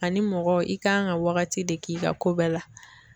Ani mɔgɔ i kan ka waagati de k'i ka ko bɛɛ la.